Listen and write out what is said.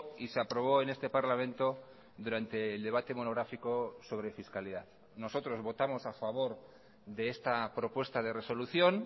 y se aprobó en este parlamento durante el debate monográfico sobre fiscalidad nosotros votamos a favor de esta propuesta de resolución